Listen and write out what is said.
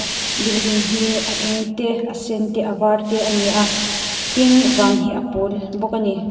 building hi a eng te a sen te a var te a ni a tin van hi a pawl bawk a ni.